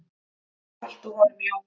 Og haltu honum Jón.